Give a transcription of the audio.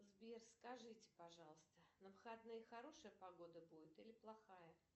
сбер скажите пожалуйста на выходные хорошая погода будет или плохая